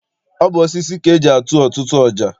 Ọ bụ osisi ka eji atụ ọtụtụ ọja.